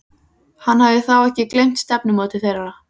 Hann hafði þá ekki gleymt stefnumóti þeirra.